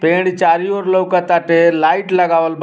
पेड़ चारु ओर लउकटाते लाइट लगावल बा।